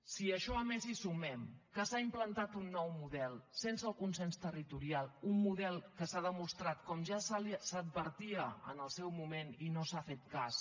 si a això a més hi sumem que s’ha implantat un nou model sense el consens territorial un model que s’ha demostrat com ja s’advertia en el seu moment i no se n’ha fet cas